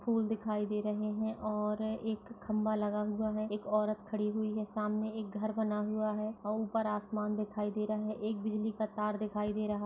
फूल दिखाई दे रहे है और एक खम्बा लगा हुआ है एक औरत खड़ी हुई है सामने एक घर बना हुआ है और ऊपर आसमान दिखाई दे रहा है एक बिजली का तार दिखाई दे रहा --